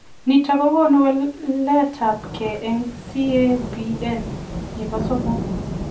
Nitok kokonuu waleet ap gei eng CAPN nepo somok.